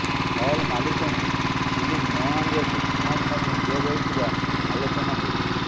hall ମାଲିକଙ୍କୁ film ନ ଆଣିବାକୁ ଧମକ ମଧ୍ୟ ଦିଆଯାଉଥିବା ଆଲୋଚନା ହେଉଛି